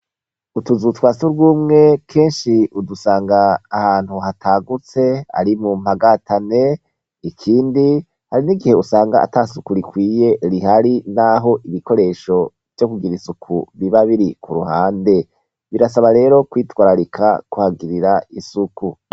Utuzu twa surwumwe kenshi udusanga ahantu hatagutse, ari mu mpagatane, ikindi hari n'igihe usanga atasuku rikwiye rihari naho ibikoresho vyo kugira isuku biba biri ku ruhande. Birasaba rero kwitwararika kuhagirira isuku.